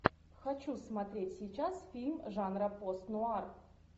хочу смотреть сейчас фильм жанра пост нуар